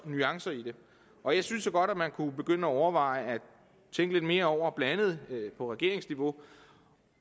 nuancer i det og jeg synes jo godt at man kunne begynde at overveje at tænke lidt mere over blandt andet på regeringsniveau